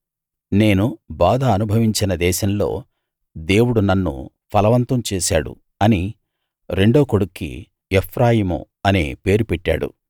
నేను బాధ అనుభవించిన దేశంలో దేవుడు నన్ను ఫలవంతం చేశాడు అని రెండో కొడుక్కి ఎఫ్రాయిము అనే పేరు పెట్టాడు